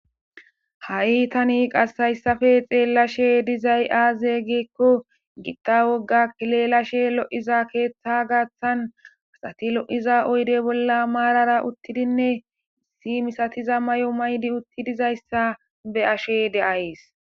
ha7i itani qassayssafe xeellashe dizay aaze geekko gitta wogga kilelashe lo7iza keeththa gaaththan axati lo7iza oyde bolla maarara uttidinne issi misatiza may7o maydi utti dizayssa be ashe de7ayes